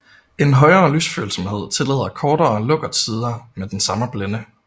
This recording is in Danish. En højere lysfølsomhed tillader kortere lukkertider med den samme blænde